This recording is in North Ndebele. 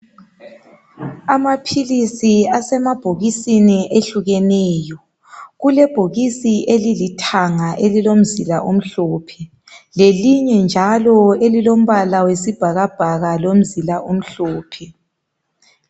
Amaphilisi asemabhokisini ehlukeneyo, kulebhokisi elilithanga elilomzila omhlophe, lelilinye njalo elilombala wesibhakabhaka lomzila omhlophe.